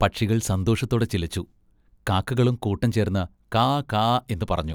പക്ഷികൾ സന്തോഷത്തോടെ ചിലച്ചു. കാക്കകളും കൂട്ടംചേർന്ന് കാ കാ എന്ന് പറഞ്ഞു.